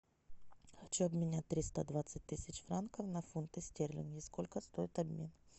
хочу обменять триста двадцать тысяч франков на фунты стерлингов сколько стоит обмен